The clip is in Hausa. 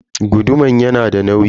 Guduman yanada nauyi.